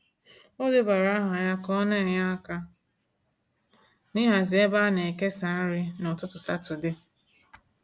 O debara aha ya ka ọ na-enye aka n'hazi ebe a na-ekesa nri n’ụtụtụ Satọde.